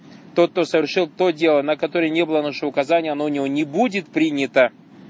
тот кто совершил то дело на которой не было нашего указания оно у него не будет принято